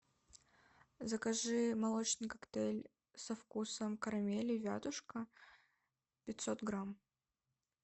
закажи молочный коктейль со вкусом карамели вятушка пятьсот грамм